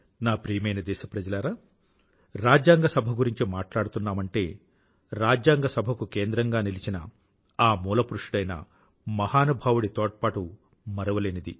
నా ప్రియమైన దేశప్రజలారా రాజ్యాంగ సభ గురించి మట్లాడుతుంటే రాజ్యాంగ సభ కు కేంద్రంగా నిలిచిన ఆ మూలపురుషుడైన మహానుభావుడి తోడ్పాటు మరువలేనిది